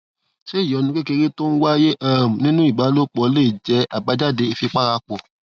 ṣé ìyọnu kékeré tó ń wáyé um nínú ìbálòpò lè jé àbájáde ìfipárapò